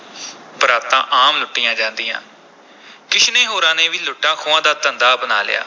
ਬਰਾਤਾਂ ਆਮ ਲੁੱਟੀਆਂ ਜਾਂਦੀਆਂ ਕਿਸ਼ਨੇ ਹੋਰਾਂ ਨੇ ਵੀ ਲੁੱਟਾਂ-ਖੋਹਾਂ ਦਾ ਧੰਦਾ ਅਪਣਾ ਲਿਆ।